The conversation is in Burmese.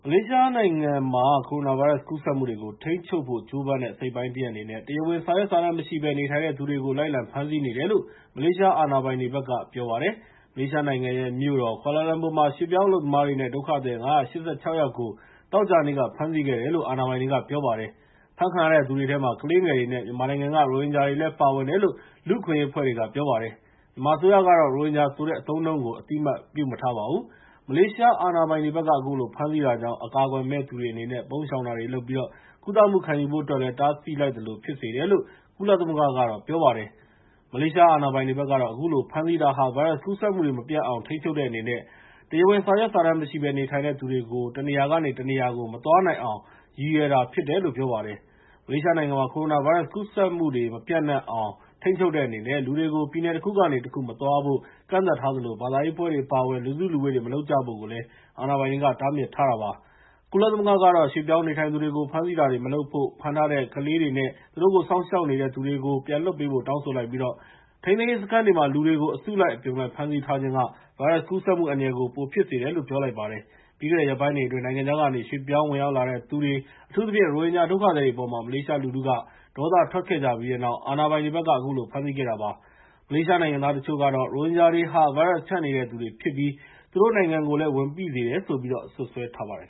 လေးရှားနိုင်ငံမှာ ကိုရိုနာဗိုင်းရပ်စ် ကူးစက်မှုတွေကို ထိန်းချုပ်ဖို့ ကြိုးပမ်းတဲ့ အစိတ်အပိုင်းတရပ် အနေနဲ့ တရားဝင်စာရွက်စာတမ်း မရှိဘဲ နေထိုင်တဲ့သူတွေကို လိုက်လံဖမ်းဆီးနေတယ်လို့ မလေးရှား အာဏာပိုင်တွေဘက်က ပြောပါတယ်။ မလေးရှားနိုင်ငံရဲ့ မြို့တော် ကွာလာလမ်ပူမှာ ရွှေ့ပြောင်းအလုပ်သမားတွေနဲ့ ဒုက္ခသည် ၅၈၆ ယောက်ကို သောကြာနေ့က ဖမ်းဆီးခဲ့တယ်လို့ အာဏာပိုင်တွေက ပြောပါတယ်။ ဖမ်းဆီးခံရသူတွေထဲမှာ ကလေးငယ်တွေနဲ့ မြန်မာနိုင်ငံက ရိုဟင်ဂျာတွေလည်း ပါဝင်တယ်လို့ လူ့အခွင့်အရေးအဖွဲ့တွေက ပြောပါတယ်။ မြန်မာအစိုးရကတော့ ရိုဟင်ဂျာဆိုတဲ့ အသုံးအနှုန်းကို အသိအမှတ် မပြုထားပါဘူး။ မလေးရှား အာဏာပိုင်တွေဘက်က အခုလို ဖမ်းဆီးတာကြောင့် အကာအကွယ်မဲ့သူတွေ အနေနဲ့ ပုန်းရှောင်တာတွေလုပ်ပြီး ကုသမှု ခံယူဖို့အတွက်ကိုလည်း တားဆီးလိုက်သလို ဖြစ်စေတယ်လို့ ကုလသမဂ္ဂက ပြောပါတယ်။ မလေးရှား အာဏာပိုင်တွေဘက်ကတော့ အခုလို ဖမ်းဆီးတာဟာ ဗိုင်းရပ်စ်ကူးစက်မှုတွေ မပျံ့နှံ့အောင် ထိန်းချုပ်တဲ့အနေနဲ့ တရားဝင် စာရွက်စာတမ်းမရှိဘဲ နေထိုင်တဲ့သူတွေ တနေရာကနေ တနေရာကို မသွားနိုင်အောင် ရည်ရွယ်တာဖြစ်တယ်လို့ ပြောပါတယ်။ မလေးရှားနိုင်ငံမှာ ကိုရိုနာဗိုင်းရပ်စ် ကူးစက်ပျံ့နှံ့မှုတွေ မဖြစ်အောင် ထိန်းချုပ်တဲ့အနေနဲ့ လူတွေကို ပြည်နယ်တခုကနေတခု မသွားလာဖို့ ကန့်သတ်ထားသလို ဘာသာရေးပွဲတွေ အပါအဝင် လူစုလူဝေးတွေ မလုပ်ကြဖို့ကိုလည်း အာဏာပိုင်တွေက တားမြစ်ထားတာ ဖြစ်ပါတယ်။ ကုလသမဂ္ဂကတော့ ရွှေ့ပြောင်းနေထိုင်သူတွေကို ဖမ်းဆီးတာတွေ မလုပ်ဖို့နဲ့ ဖမ်းဆီးထားတဲ့ ကလေးတွေနဲ့ သူတို့ကို စောင့်ရှောက်နေတဲ့သူတွေကို ပြန်လွှတ်ပေးဖို့ တောင်းဆိုလိုက်ပြီး ထိန်းသိမ်းရေးစခန်းတွေအတွင်း လူတွေကို အစုလိုက်အပြုံလိုက် ဖမ်းဆီးထားခြင်းက ဗိုင်းရပ်စ်ကူးစက်မှု အန္တရာယ်ကို ပိုဖြစ်စေတယ်လို့ ပြောလိုက်ပါတယ်။ ပြီးခဲ့တဲ့ ရက်ပိုင်းတွေအတွင်း နိုင်ငံခြားကနေ ရွှေ့ပြောင်းဝင်ရောက်လာတဲ့သူတွေ အထူးသဖြင့် ရိုဟင်ဂျာ ဒုက္ခသည်တွေအပေါ် မလေးရှားလူထုက ဒေါသထွက်ခဲ့ကြပြီးတဲ့နောက် အာဏာပိုင်တွေဘက်က အခုလို ဖမ်းဆီးခဲ့တာပါ။ မလေးရှားနိုင်ငံသား တချို့ကတော့ ရိုဟင်ဂျာတွေဟာ ဗိုင်းရပ်စ်ဖြန့်နေတဲ့သူတွေဖြစ်ပြီး သူတို့နိုင်ငံကိုလည်း ဝန်ပိစေတယ်လို့ စွပ်စွဲထားပါတယ်